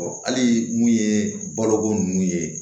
hali mun ye baloko nunnu ye